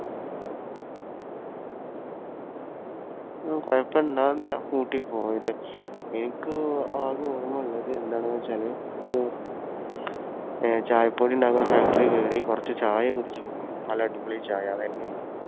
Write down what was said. ഉം കുഴപ്പ കൂട്ടി പോയത്. എനിക്ക് ആകെ ഓർമ്മ ഉള്ളത് എന്താണെന്നുവെച്ചാൽ ഒരു ചായപ്പൊടിയുണ്ടാക്കുന്ന factory യിൽ കയറി, കുറച്ചു ചായ കുടിച്ചു പോന്നു. നല്ല അടിപൊളി ചായ. അതുതന്നെയേ ഉള്ളൂ.